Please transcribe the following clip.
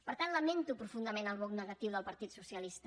per tant lamento profundament el vot negatiu del partit socialista